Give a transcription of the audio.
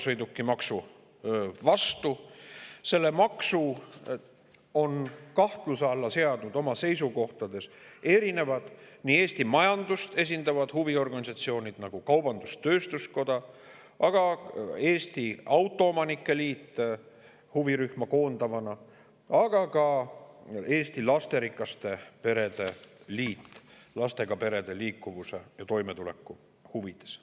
Selle maksu on oma seisukohtades kahtluse alla seadnud erinevad Eesti majandust esindavad huviorganisatsioonid, nagu Kaubandus-Tööstuskoda, aga ka huvirühma koondav Eesti Autoomanike Liit ning Eesti Lasterikaste Perede Liit lastega perede liikuvuse ja toimetuleku huvides.